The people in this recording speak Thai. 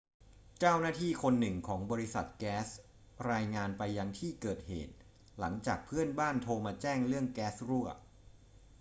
เจ้าหน้าที่คนหนึ่งของบริษัทแก๊สรายงานไปยังที่เกิดเหตุ หลังจากเพื่อนบ้านโทรมาแจ้งเรื่องแก๊สรั่ว